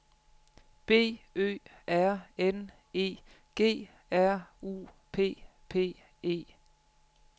B Ø R N E G R U P P E